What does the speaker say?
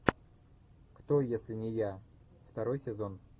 кто если не я второй сезон